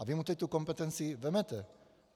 A vy mu teď tu kompetenci vezmete.